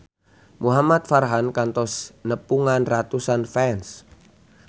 Muhamad Farhan kantos nepungan ratusan fans